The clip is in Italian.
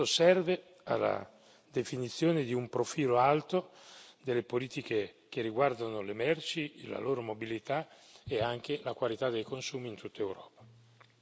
Questo serve alla definizione di un profilo alto delle politiche che riguardano le merci e la loro mobilità e anche la qualità dei consumi in tutta Europa.